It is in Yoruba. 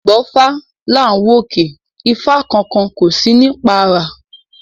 Àìgbọ́fá làá wòkè ifá kan kan kò sí ní párá